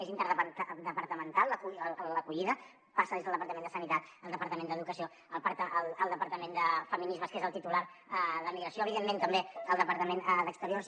és interdepertamental l’acollida passa des del departament de sanitat el departament d’educació el departament de feminismes que és el titular d’emigració evidentment també el departament d’exteriors